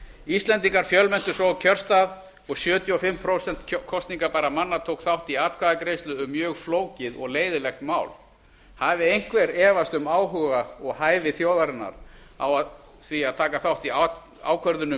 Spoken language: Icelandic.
íslendingar fjölmenntu svo á kjörstað og sjötíu og fimm prósent kosningabærra manna tóku þátt í atkvæðagreiðslu um mjög flókið og leiðinlegt mál hafi einhver efast um áhuga og hæfi þjóðarinnar á því að taka þátt í ákvörðunum